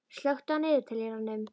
Sigþór, slökktu á niðurteljaranum.